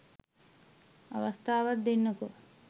අවස්ථාවක් දෙන්නකෝ